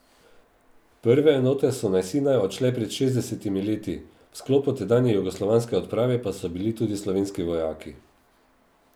Prve enote so na Sinaj odšle pred šestdesetimi leti, v sklopu tedanje jugoslovanske odprave pa so bili tudi slovenski vojaki.